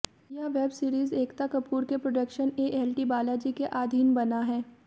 यह web series Ekta Kapoor के production ALT Balaji के आधीन बना है